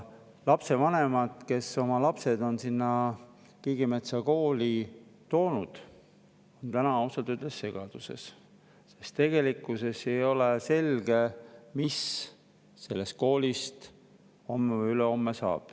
Lapsevanemad, kes on oma lapsed sinna Kiigemetsa Kooli toonud, on täna ausalt öeldes segaduses, sest ei ole selge, mis saab sellest koolist homme või ülehomme.